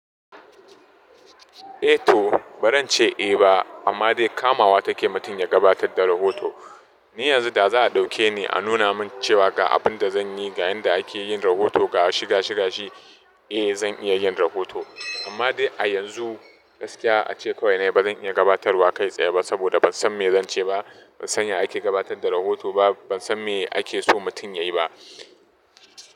Eh to, bazan ce eh ba, amma dai kamawa take mutum ya gabatar da rahoto. Ni yanzu da za a ɗauke ni a nuna min cewa ga abin da zan yi, ga yanda ake yin rahoto, ga shi ga shi ga shi, eh zan iya yin rahoto. Amma dai a yanzu gaskiya ace kawai na yi, ba zan iya gabatarwa kai tsaye ba saboda ban san me zan ce ba, ban san ya ake gabatar da rahoto ba, ban san me ake so mutum ya yi ba.